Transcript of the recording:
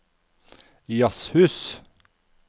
jazzhus